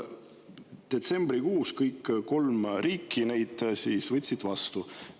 Detsembrikuus kõik kolm riiki võtsid avalduse vastu.